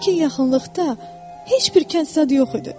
Lakin yaxınlıqda heç bir kəntlərdə yox idi.